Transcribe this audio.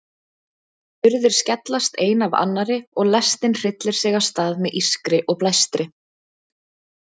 Hurðir skellast ein af annarri og lestin hryllir sig af stað með ískri og blæstri.